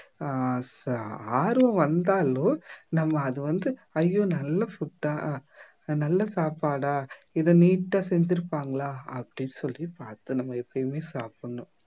ஆஹ் சா ஆர்வம் வந்தாலும் நம்ம அது வந்து ஐயோ நல்ல food அ நல்ல சாப்பாடா இதை neat ஆ செஞ்சிருப்பாங்களா அப்படி சொல்லி பார்த்து நம்ம எப்பயுமே சாப்பிடணும்